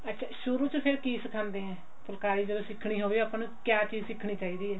ਅੱਛਾ ਸ਼ੁਰੂ ਚ ਫ਼ੇਰ ਕੀ ਸਿਖਾਉਂਦੇ ਆ ਫੁਲਕਾਰੀ ਜਦੋਂ ਸਿੱਖਣੀ ਹੋਵੇ ਆਪਾਂ ਨੂੰ ਕੀ ਚੀਜ਼ ਸਿੱਖਣੀ ਚਾਹੀਦੀ ਹੈ